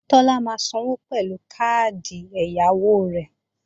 Tọ́lá máa sanwó pẹ̀lú káàdì ẹ̀yáwó rẹ̀